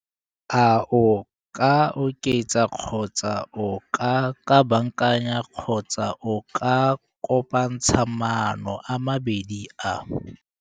A o ka oketsa kgotsa o ka kabakanya kgotsa o ka kopantsha maano a mabedi a?